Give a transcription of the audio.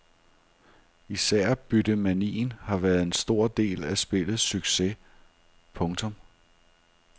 Især byttemanien har været en stor del af spillets succes. punktum